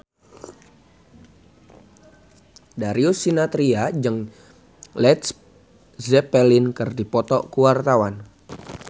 Darius Sinathrya jeung Led Zeppelin keur dipoto ku wartawan